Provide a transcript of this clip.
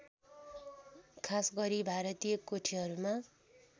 खासगरी भारतीय कोठीहरूमा